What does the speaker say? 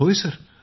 होय सर